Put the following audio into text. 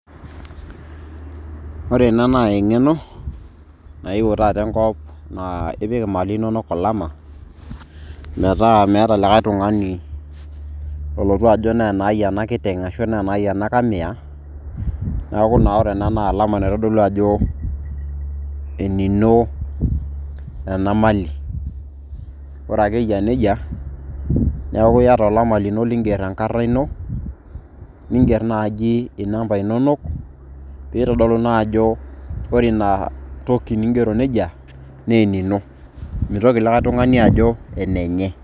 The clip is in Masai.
Ore ena naa eng'eno naewuo taata enkop naa ipik imali nonok olama, metaa meeta likae tung'ani olotu ajo ne nai ena kiteng' ashu ne nai ena kamia, neeku ore ena na olama oitodolu ajo enino enamali. Ore ake yia nejia, neeku iyata olama lino liger enkarna ino, niger nai inamba inonok, peitodolu naa ajo ore inatoki nigero nejia, naa enino. Mitoki likae tung'ani ajo enenye.